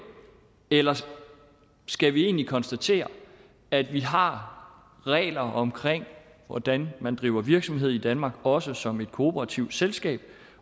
eller skal vi egentlig konstatere at vi har regler omkring hvordan man driver virksomhed i danmark også som et kooperativt selskab